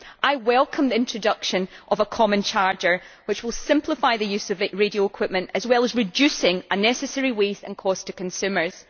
I welcome the introduction of a common charger, which will simplify the use of radio equipment as well as reducing unnecessary waste and cost to consumers.